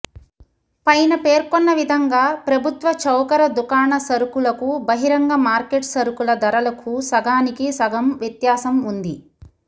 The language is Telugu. పైన పేర్కొన్న విధంగా ప్రభుత్వ చౌకర దుకాణ సరుకులకు బహిరంగ మార్కెట్ సరుకుల ధరలకు సగానికి సగంవ్యత్యాసం ఉంది